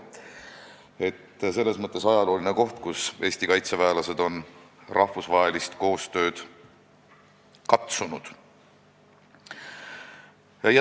Nii et see on ajalooline koht, kus Eesti kaitseväelased on rahvusvahelist koostööd teha katsunud.